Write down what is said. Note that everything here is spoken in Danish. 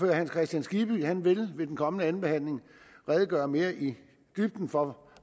hans kristian skibby vil ved den kommende anden behandling redegøre mere i dybden for